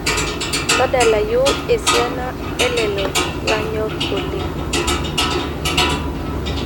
tadalayu esiana elelo lanyorr oleng'